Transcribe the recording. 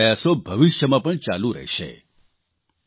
સરકારના પ્રયાસો ભવિષ્યમાં પણ ચાલુ રહેશે